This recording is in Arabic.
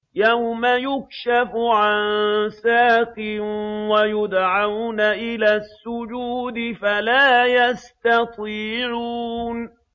يَوْمَ يُكْشَفُ عَن سَاقٍ وَيُدْعَوْنَ إِلَى السُّجُودِ فَلَا يَسْتَطِيعُونَ